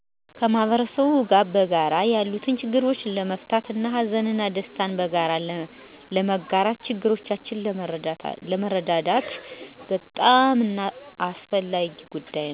ከ ማህበረሰቡ ጋር በጋራ ያሉትን ችግሮች ለመፍታትት ሀዘን እና ደስታን በጋራ ለመጋራት ችግረኞችን ለመርዳት